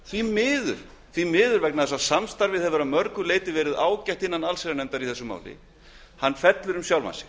því miður því að samstarfið í allsherjarnefnd hefur að mörgu leyti verið ágætt fellur um sjálfan sig